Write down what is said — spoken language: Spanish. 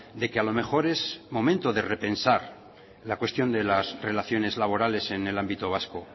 de que a lo mejor es momento de repensar la cuestión de las relaciones laborales en el ámbito vasco